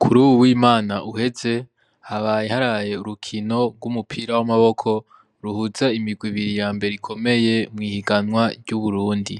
Kuruwu w'Imana uheze, haraye habayo urukino rw'umupira w'amaboko, ruhuza imigwi ibiri yambere ikomeye mw'ihiganwa ry'uburundi,